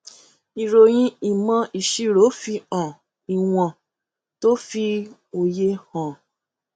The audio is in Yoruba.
ìròyìn ìmò ìṣirò fihan ìwọn tó fi òye hàn